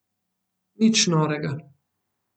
Nič norega.